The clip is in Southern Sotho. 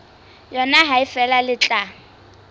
yona ha feela le tla